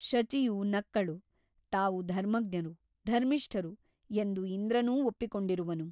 ಶಚಿಯು ನಕ್ಕಳು ತಾವು ಧರ್ಮಜ್ಞರು ಧರ್ಮಿಷ್ಠರು ಎಂದು ಇಂದ್ರನೂ ಒಪ್ಪಿಕೊಂಡಿರುವನು.